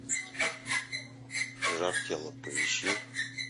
жар тела поищи